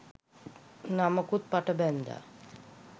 නමකුත් පට බැන්දා